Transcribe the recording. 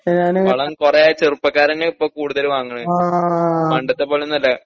വളം കുറെ ചെറുപ്പക്കാരന്യപ്പൊക്കൂടുതല് വാങ്ങണ്.പണ്ടത്തെ പോലൊന്നല്ല